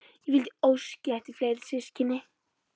Ég vildi óska að ég ætti fleiri systkini.